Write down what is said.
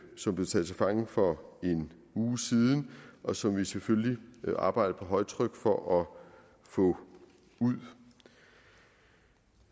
som blev taget til fange for en uge siden og som vi selvfølgelig arbejder på højtryk for at få ud